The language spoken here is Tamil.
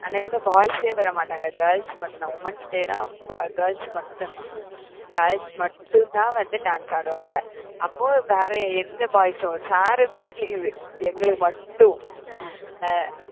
அன்னைக்கு வந்து boys ஏ வரமாட்டாங்க girls மட்டும்தான். womens day ன்னா ப~ girls மட்டும்தான் girls மட்டும்தான் வந்து dance ஆடுவாங்க. அப்போ வேற எந்த boys உம் sir கூட leave எங்களுக்கு மட்டும் அஹ்